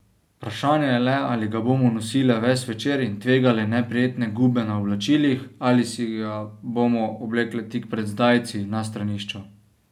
Vprašanje je le, ali ga bomo nosile ves večer in tvegale neprijetne gube na oblačilih ali si ga bomo oblekle tik pred zdajci, na stranišču.